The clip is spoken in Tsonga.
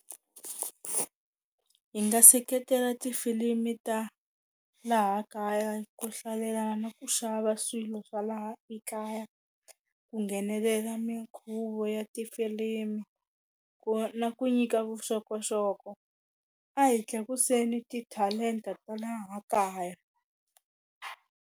Hi nga seketela tifilimi ta laha kaya ku hlalela na ku xava swilo swa laha ekaya ku nghenelela minkhuvo ya tifilimu ku na ku nyika vuxokoxoko a hi tlakuseni ti-talent-a ta laha kaya.